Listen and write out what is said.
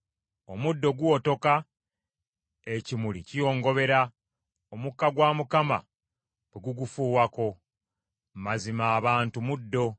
Omuddo guwotoka, ekimuli kiyongobera, omukka gwa Mukama bwe gugufuuwako. Mazima abantu muddo.